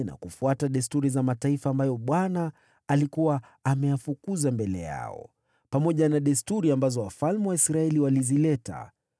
na kufuata desturi za mataifa ambayo Bwana alikuwa ameyafukuza mbele yao, pamoja na desturi ambazo wafalme wa Israeli walizileta.